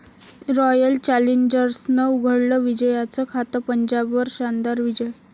royal चॅलेंजर्सनं उघडलं विजयाचं खातं, पंजाबवर शानदार विजय